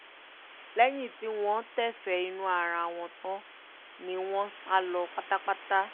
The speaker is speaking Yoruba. lẹ́yìn tí wọ́n tẹ́fẹ̀ẹ́ inú ara wọn tán ni wọ́n sá lọ pátápátá